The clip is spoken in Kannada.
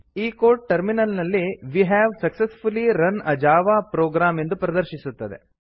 ಈ ಕೋಡ್ ಟರ್ಮಿನಲ್ ನಲ್ಲಿ we have successfully run a Java program ಎಂದು ಪ್ರದರ್ಶಿಸುತ್ತದೆ